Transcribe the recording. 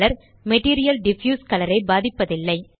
material diffuse colour ஐ பாதிப்பதில்லை